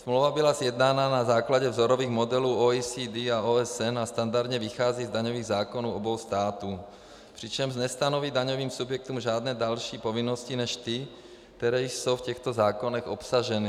Smlouva byla sjednána na základě vzorových modelů OECD a OSN a standardně vychází z daňových zákonů obou států, přičemž nestanoví daňovým subjektům žádné další povinnosti než ty, které jsou v těchto zákonech obsaženy.